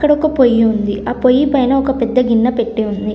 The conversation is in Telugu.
ఇక్కడ ఒక పొయ్యి ఉంది ఆ పొయ్యి పైన ఒక పెద్ద గిన్నె పెట్టి ఉంది.